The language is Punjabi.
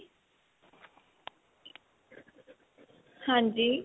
ਹਾਂਜੀ